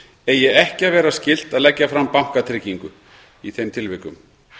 eigi ekki að vera skylt að leggja fram bankatryggingu í þeim tilvikum